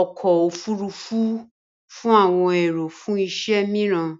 ọkọ̀-ofurufú fún àwọn èrò fún iṣẹ́ mìíràn.